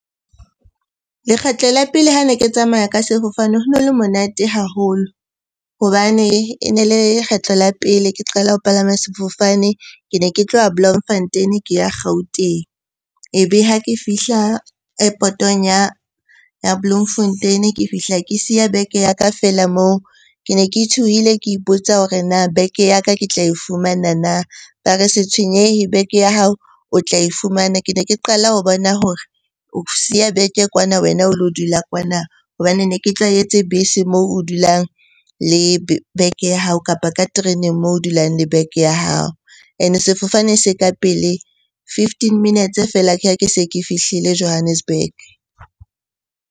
Lekgetlo la pele ha ne ke tsamaya ka sefofane ho no le monate haholo hobane e ne le lekgetlo la pele ke qala ho palama sefofane. Ke ne ke tlowa Bloemfontein-e ke ya Gauteng. Ebe ha ke fihla airport-ong ya Bloemfontein-e, ke fihla ke siya bag-e ya ka feela moo. Ke ne ke tshohile, ke ipotsa hore na bag-e ya ka ke tla e fumana na? Ba re se tshwenyehe bag-e ya hao o tla e fumana. Ke ne ke qala ho bona hore o siya bag-e kwana, wena o lo dula kwana. Hobane ne ke tlwaetse bese moo o dulang bag ya hao, kapa ka tereneng moo o dulang le bag ya hao. Ene sefofane se ka pele, fifteen minutes feela ke ha ke se ke fihlile Johannesburg.